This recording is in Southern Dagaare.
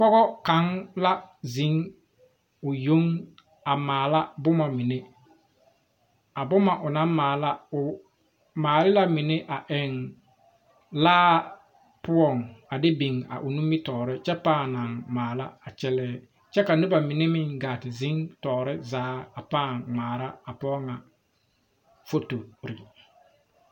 Pɔge kaŋa la zeŋ o yoŋ a maala boma mine a boma o naŋ maala o maale la mine eŋ laa poɔŋ a de biŋ a o nimitɔre kyɛ paaŋ kyɛ paaŋ naŋ maala a kyɛlɛ kyɛ ka ka noba mine gaa te zeŋ tɔre zaa a kyɛ ŋmaara a pɔge ŋ a foto.